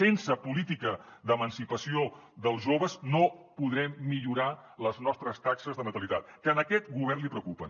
sense política d’emancipació dels joves no podrem millorar les nostres taxes de natalitat que a aquest govern li preocupen